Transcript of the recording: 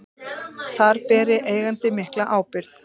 Þar beri eigandi mikla ábyrgð.